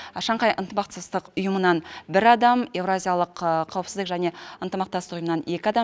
шанхай ынтымақтастық ұйымынан бір адам еуразиялық қауіпсіздік және ынтымақтастық ұйымынан екі адам